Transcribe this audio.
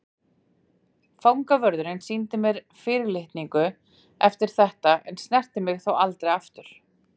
Fangavörðurinn sýndi mér fyrir litningu eftir þetta en snerti mig þó aldrei aftur.